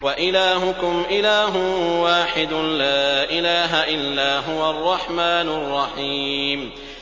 وَإِلَٰهُكُمْ إِلَٰهٌ وَاحِدٌ ۖ لَّا إِلَٰهَ إِلَّا هُوَ الرَّحْمَٰنُ الرَّحِيمُ